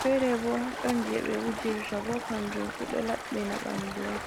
fere Bo ɗon je ɓe wujirta, bo kanjum fu ɗo labɓina ɓandu on.